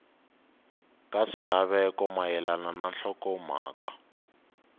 ka swilaveko mayelana na nhlokomhaka